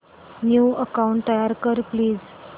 new account तयार कर please